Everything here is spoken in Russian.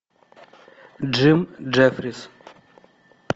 джим джеффрис